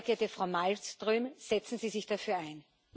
Sehr geehrte Frau Malmström, setzen Sie sich dafür ein!